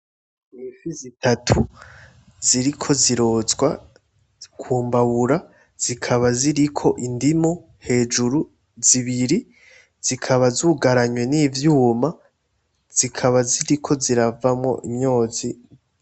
Ni ifi zitatu ziriko zirotswa ku mbabura zikaba ziriko indimu hejuru zibiri zikaba zugaranwa n'ivyuma, zikaba ziko ziravamwo imyotsi.